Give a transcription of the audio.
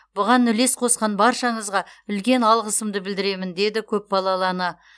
бұған үлес қосқан баршаңызға үлкен алғысымды білдіремін деді көпбалалы ана